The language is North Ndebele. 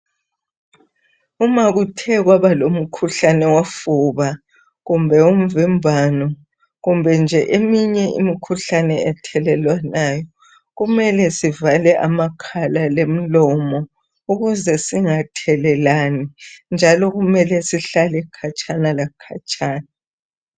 Uma kuthe kwaba lomkhuhlane wofuba kumbe umvimbano kumbe nje eminye imikhuhlane ethelelwanayo, kumele sivale amakhala lemilomo ukuze singathelelani njalo kumele sihlale khatshana la khatshana.